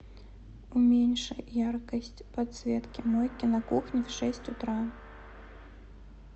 уменьши яркость подсветки мойки на кухне в шесть утра